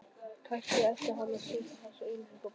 Kannski ætti hann að setja þessa auglýsingu í blaðið